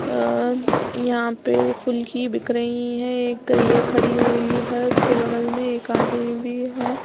अ अ यहाँ पे फुलकी बिक रही है। एक गईया खड़ी हुई है उसके बगल में एक आदमी भी है।